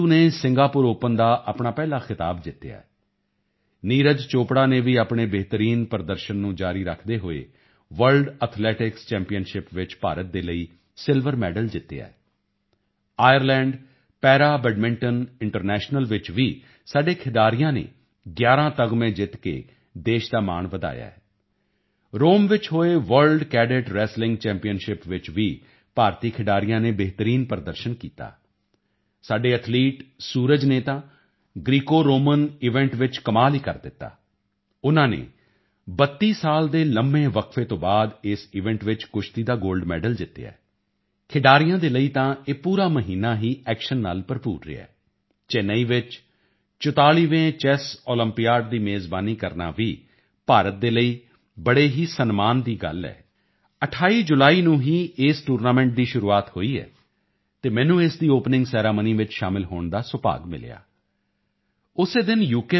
ਸਿੰਧੂ ਨੇ Singapore open ਦਾ ਆਪਣਾ ਪਹਿਲਾ ਖਿਤਾਬ ਜਿੱਤਿਆ ਹੈ ਨੀਰਜ ਚੋਪੜਾ ਨੇ ਵੀ ਆਪਣੇ ਬਿਹਤਰੀਨ ਪ੍ਰਦਰਸ਼ਨ ਨੂੰ ਜਾਰੀ ਰੱਖਦੇ ਹੋਏ ਵਰਲਡ ਐਥਲੈਟਿਕਸ ਚੈਂਪੀਅਨਸ਼ਿਪ ਵਿੱਚ ਭਾਰਤ ਦੇ ਲਈ ਸਿਲਵਰ ਮੈਡਲ ਜਿੱਤਿਆ ਹੈ ਆਇਰਲੈਂਡ ਪੈਰਾਬੈਡਮਿੰਟਨ ਇੰਟਰਨੈਸ਼ਨਲ ਵਿੱਚ ਵੀ ਸਾਡੇ ਖਿਡਾਰੀਆਂ ਨੇ 11 ਤਗਮੇ ਜਿੱਤ ਕੇ ਦੇਸ਼ ਦਾ ਮਾਣ ਵਧਾਇਆ ਹੈ ਰੋਮ ਵਿੱਚ ਹੋਏ ਵਰਲਡ ਕੈਡਿਟ ਰੈਂਸਲਿੰਗ ਚੈਂਪੀਅਨਸ਼ਿਪ ਵਿੱਚ ਵੀ ਭਾਰਤੀ ਖਿਡਾਰੀਆਂ ਨੇ ਬਿਹਤਰੀਨ ਪ੍ਰਦਰਸ਼ਨ ਕੀਤਾ ਸਾਡੇ ਐਥਲੀਟ ਸੂਰਜ ਨੇ ਤਾਂ ਗਰੀਕੋਰੋਮਨ ਈਵੈਂਟ ਵਿੱਚ ਕਮਾਲ ਹੀ ਕਰ ਦਿੱਤਾ ਉਨ੍ਹਾਂ ਨੇ 32 ਸਾਲ ਦੇ ਲੰਬੇ ਵਕਫੇ ਤੋਂ ਬਾਅਦ ਇਸ ਈਵੈਂਟ ਵਿੱਚ ਕੁਸ਼ਤੀ ਦਾ ਗੋਲਡ ਮੈਡਲ ਜਿੱਤਿਆ ਹੈ ਖਿਡਾਰੀਆਂ ਦੇ ਲਈ ਤਾਂ ਇਹ ਪੂਰਾ ਮਹੀਨਾ ਹੀ ਐਕਸ਼ਨ ਨਾਲ ਭਰਪੂਰ ਰਿਹਾ ਹੈ ਚੇਨਈ ਵਿੱਚ 44ਵੇਂ ਚੈੱਸ ਓਲੰਪੀਆਡ ਦੀ ਮੇਜ਼ਬਾਨੀ ਕਰਨਾ ਵੀ ਭਾਰਤ ਦੇ ਲਈ ਬੜੇ ਹੀ ਸਨਮਾਨ ਦੀ ਗੱਲ ਹੈ 28 ਜੁਲਾਈ ਨੂੰ ਹੀ ਇਸ ਟੂਰਨਾਮੈਂਟ ਦੀ ਸ਼ੁਰੂਆਤ ਹੋਈ ਹੈ ਅਤੇ ਮੈਨੂੰ ਇਸ ਦੀ ਓਪਨਿੰਗ ਸੈਰਾਮਨੀ ਵਿੱਚ ਸ਼ਾਮਿਲ ਹੋਣ ਦਾ ਸੁਭਾਗ ਮਿਲਿਆ ਉਸੇ ਦਿਨ ਯੂ